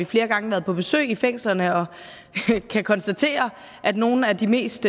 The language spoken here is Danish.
flere gange været på besøg i fængslerne og vi kan konstatere at nogle af de mest